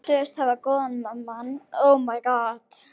Þeir sögðust hafa góðan mann til að sjá um undirleikinn fyrir mig.